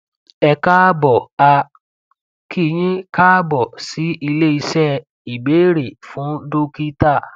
ẹ káàbọ a kí yín káàbọ sí ilé iṣẹ ìbéèrè fún dókítà